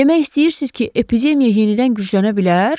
Demək istəyirsiz ki, epidemiya yenidən güclənə bilər?